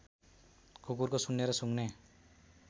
कुकुरको सुन्ने र सुँघ्ने